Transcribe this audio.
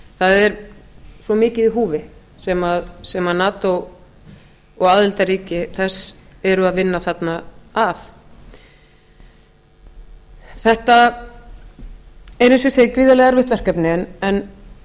það er svo mikið í húfi sem nato og aðildarríki þess eru að vinna þarna að þetta er eins og ég segi gríðarlega erfitt verkefni en